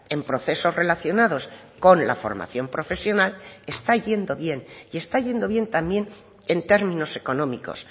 en procesos relacionados con la formación profesional está yendo bien y está yendo bien también en términos económicos